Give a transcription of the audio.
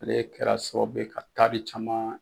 Ale kɛra sababu ye ka taari caman